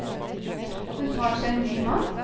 Hun tar seg en ny mann.